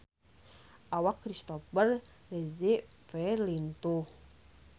Awak Christopher Reeve lintuh